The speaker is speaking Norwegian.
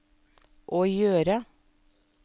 å gjøre